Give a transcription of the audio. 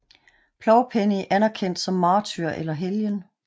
Plovpenning anerkendt som martyr eller helgen